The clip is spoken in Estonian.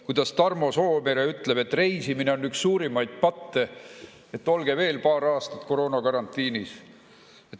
Kuidas Tarmo Soomere ütleb, et reisimine on üks suurimaid patte, olge veel paar aastat koroonakarantiinis.